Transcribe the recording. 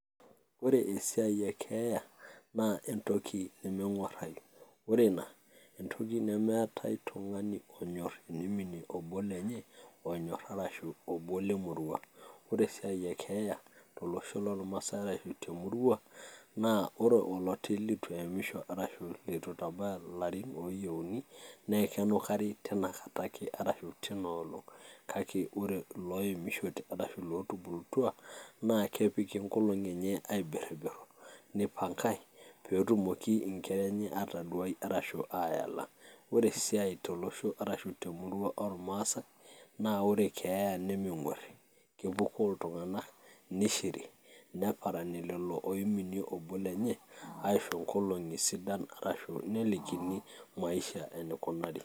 Ore eisi ekeeya naa entoki nemeng'uarrayu ore ina naa entoki nemeetai hoo tung'ani onyorr pee emini obo lenye arashu obo lemurua ore sii esiai ekeeya tolosho loormaasai arashu te murua naa ore oloti lituemisho arashu litu itabaya ilarrin ooyieuni naa kenukari tinakata ake arashu tina olong' kake ore ilooemishote ootubulutwa naa kepiki enkolong' eneye aibirribirru nipangae pee etumoki inkera enye aataduai, ore esiai temueua arashu tolosho lormaasai naa ore keeya nemeng'uarri amu kepukoo iltung'anak nishiri, neparani lelo oiminie obo lenye aisho nkolong'i sidan arashu nelikini maisha enikunari.